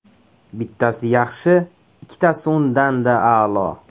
Bittasi yaxshi, ikkitasi undan-da a’lo!